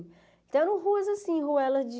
Então ruas assim, ruelas de...